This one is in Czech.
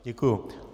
Děkuji.